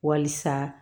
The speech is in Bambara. Walisa